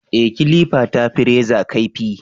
Ee, kilifa ta fi reza kaifi